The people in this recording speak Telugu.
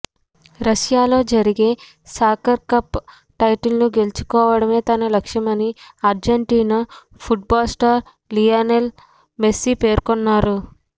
రష్యాలో జరిగే సాకర్ కప్ టైటిల్ను గెలుచుకోవడమే తన లక్ష్యమని Argentina football star Lionel Messi పేర్కొన్నాడు